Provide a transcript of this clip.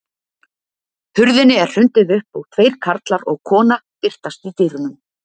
Hurðinni er hrundið upp og tveir karlar og kona birtast í dyrunum.